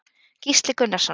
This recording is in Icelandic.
Gísli Gunnarsson.